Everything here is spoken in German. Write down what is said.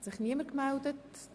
– Es hat sich niemand gemeldet.